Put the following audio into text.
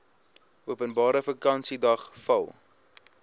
openbare vakansiedag val